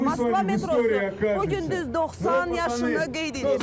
Moskva metrosu bu gün düz 90 yaşını qeyd edir.